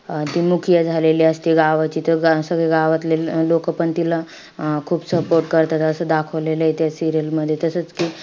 अं ती झालेली असती गावाची. त सगळे गावातले लोकं पण तिला अं खूप support करतात असं दाखवलेलंय त्या serial मध्ये.